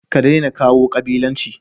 kadaina kawo kabilanci